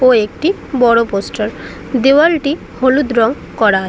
ও একটি বড় পোস্টার দেওয়ালটি হলুদ রং করা আছে ।